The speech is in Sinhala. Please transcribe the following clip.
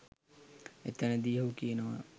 එතනදි ඔහු කියනවා